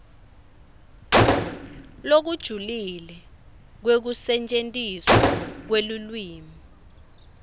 lokujulile kwekusetjentiswa kwelulwimi